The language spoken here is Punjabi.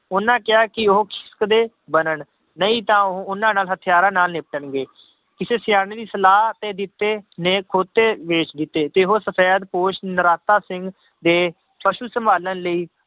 ਉਹਨਾਂ ਕਿਹਾ ਕਿ ਉਹ ਕਦੇ ਬਣਨ, ਨਹੀਂ ਤਾਂ ਉਹ ਉਹਨਾਂ ਨਾਲ ਹਥਿਆਰਾਂ ਨਾਲ ਨਿਪਟਣਗੇ ਕਿਸੇ ਸਿਆਣੇ ਦੀ ਸਲਾਹ ਤੇ ਜਿੱਤੇ ਨੇ ਖੋਤੇ ਵੇਚ ਦਿੱਤੇ ਤੇ ਉਹ ਸਫ਼ੈਦ ਪੋਸ਼ ਨਰਾਤਾ ਸਿੰਘ ਦੇ ਫਸਲ ਸੰਭਾਲਣ ਲਈ